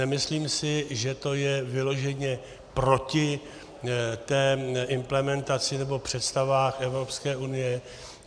Nemyslím si, že to je vyloženě proti té implementaci nebo představám Evropské unie.